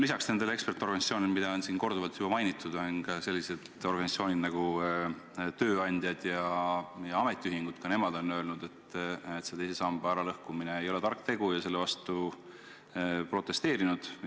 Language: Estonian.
Lisaks nendele ekspertasutustele, mida on siin korduvalt mainitud, on ka tööandjate ja ametiühingute organisatsioonid öelnud, et teise samba lõhkumine ei ole tark tegu, ja nad on selle vastu protesteerinud.